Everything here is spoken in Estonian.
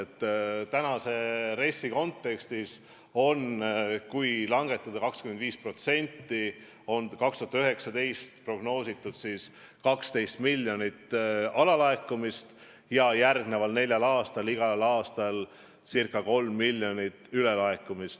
Praeguse RES-i kontekstis on prognoositud, et kui langetada aktsiise 25%, siis 2019. aastaks on 12 miljonit alalaekumist ja järgmisel neljal aastal igal aastal ca 3 miljonit ülelaekumist.